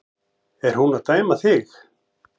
Er hún að dæma þig?